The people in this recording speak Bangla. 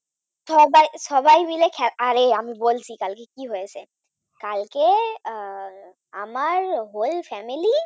হ্যাঁ ভাই সবাই মিলে আরে আমি বলছি কালকে কি হয়েছে, আহ কালকে আমার Whole Family